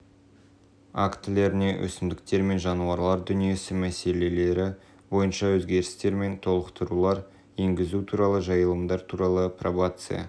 актілеріне өсімдіктер мен жануарлар дүниесі мәселелері бойынша өзгерістер мен толықтырулар енгізу туралы жайылымдар туралы пробация